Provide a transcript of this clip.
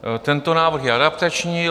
Tento návrh je adaptační.